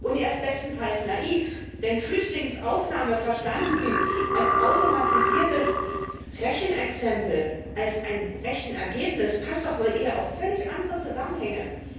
Er ist bestenfalls naiv, denn Flüchtlingsaufnahme verstanden als automatisiertes Rechenexempel, als ein Rechenergebnis, passt doch wohl eher auf völlig andere Zusammenhänge.